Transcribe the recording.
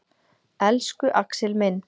Elsku Axel minn.